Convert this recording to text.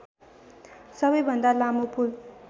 सबैभन्दा लामो पुल